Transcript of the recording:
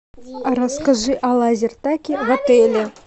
расскажи о лазертаге в отеле